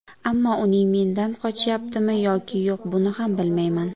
Ammo uning mendan qochyaptimi yoki yo‘q buni ham bilmayman.